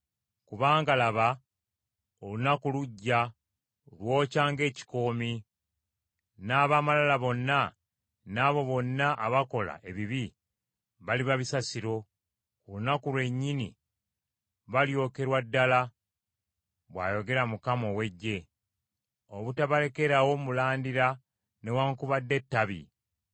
“Kubanga, laba, olunaku lujja, lwokya ng’ekikoomi, n’ab’amalala bonna n’abo bonna abakola ebibi baliba bisasiro: ku lunaku lwennyini balyokerwa ddala,” bw’ayogera Mukama ow’Eggye, “obutabalekerawo mulandira newaakubadde ettabi.